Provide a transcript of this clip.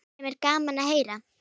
Sem er gaman að heyra.